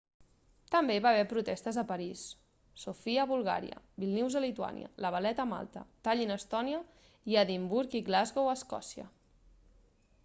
també hi va haver protestes a parís sofia a bulgària vílnius a lituània la valetta a malta tallin a estònia i edimburg i glasgow a escòcia